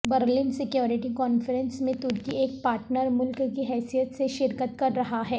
Berlin security conference میں ترکی ایک پارٹنر ملک کی حیثیت سے شرکت کر رہا ہے